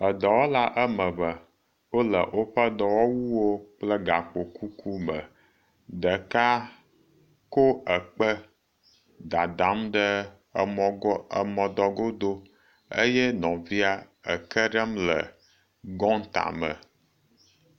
Edɔwɔla ame eve, wole woƒe dɔwɔwuwo kple gakpokuku me, ɖeka kɔ ekpe dadam ɖe emɔ dɔ godo eye nɔvia eke ɖem gɔta me.